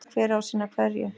Hver á að sinna hverju?